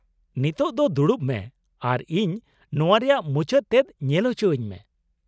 ᱱᱤᱛᱳᱜ ᱫᱚ ᱫᱩᱲᱩᱵ ᱢᱮ, ᱟᱨ ᱤᱧ ᱱᱚᱶᱟ ᱨᱮᱭᱟᱜ ᱢᱩᱪᱟᱹᱫ ᱛᱮᱫ ᱧᱮᱞ ᱚᱪᱚᱣᱟᱹᱧ ᱢᱮ ᱾